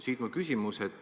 Siit minu küsimus.